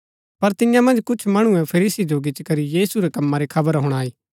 पर तियां मन्ज कुछ मणुऐ फरीसी जो गिचीकरी यीशु रै कम्मा री खबर हुणाई